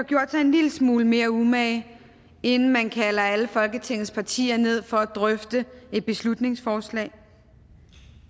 gjort sig en lille smule mere umage inden man kalder alle folketingets partier ned for at drøfte et beslutningsforslag